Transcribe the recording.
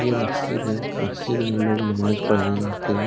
ये मस्जिद है मस्जिद में लोग नमाज पढ़ने जाते है।